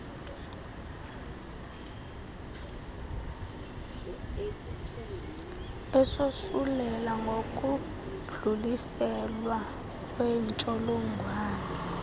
esosulela ngokudluliselwa kwentsholongwane